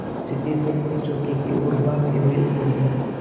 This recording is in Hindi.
सिद्धेश्वरी ने चौके की ओर भागते हुए उत्तर दिया